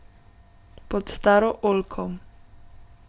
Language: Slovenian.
Pod staro oljko.